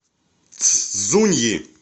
цзуньи